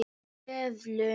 Í seðlum.